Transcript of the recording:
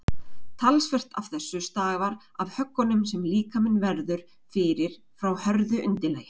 talsvert af þessu stafar af höggunum sem líkaminn verður fyrir frá hörðu undirlagi